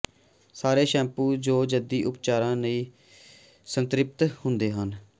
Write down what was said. ਸਾਰੇ ਸ਼ੈਂਪੂ ਜੋ ਜੱਦੀ ਉਪਚਾਰਾਂ ਨਾਲ ਸੰਤ੍ਰਿਪਤ ਹੁੰਦੇ ਹਨ